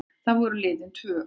Þá voru liðin tvö ár.